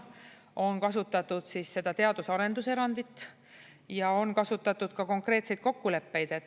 On kasutatud seda teadus‑ ja arendus erandit ja on kasutatud ka konkreetseid kokkuleppeid.